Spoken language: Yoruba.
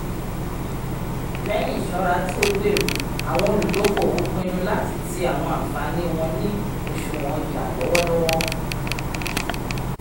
lẹyìn iṣọra tíó gbèrò àwọn oludokoowo pinnu láti tii àwọn ànfàní wọn ni òṣùwọ̀n ọja lọwọlọwọ